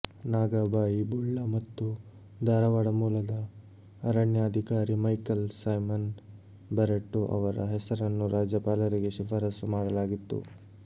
ನಾಗಾಬಾಯಿ ಬುಳ್ಳ ಮತ್ತು ಧಾರವಾಡ ಮೂಲದ ಅರಣ್ಯ ಅಧಿಕಾರಿ ಮೈಕಲ್ ಸೈಮನ್ ಬರ್ರಟ್ಟೊ ಅವರ ಹೆಸರನ್ನು ರಾಜ್ಯಪಾಲರಿಗೆ ಶಿಫಾರಸು ಮಾಡಲಾಗಿತ್ತು